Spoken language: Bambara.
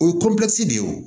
O ye de ye o